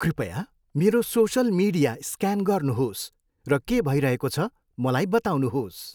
कृपया मेरो social media scan गर्नुहोस् र के भइरहेको छ मलाई बताउनुहोस्।